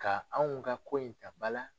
Ka anw ka ko in ka ba la